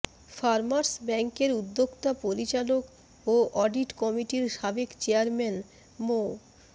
farmers ব্যাংকের উদ্যোক্তা পরিচালক ও অডিট কমিটির সাবেক চেয়ারম্যান মো